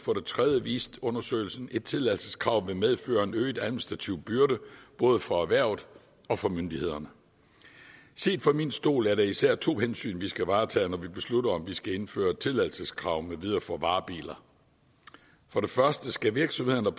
viste undersøgelsen at et tilladelseskrav vil medføre en øget administrativ byrde både for erhvervet og for myndighederne set fra min stol er der især to hensyn vi skal varetage når vi beslutter om vi skal indføre tilladelseskrav med videre for varebiler for det første skal virksomhederne